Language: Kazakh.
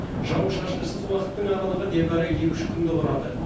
жауын шашынсыз уақыттың аралығы небәрі екі үш күнді құрады